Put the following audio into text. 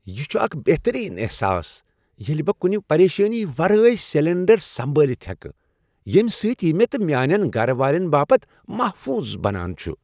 یہ چھ اکھ بہترین احساس ییٚلہ بہٕ كٗنہِ پریشٲنی ورٲے سلنڈرسنبٲلِتھ ہیكہٕ ، ییٚمہ سۭتۍ یہِ مے٘ تہٕ میانین گر والین باپت محفوظ بنان چھٗ ۔